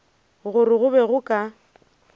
gore go be go ka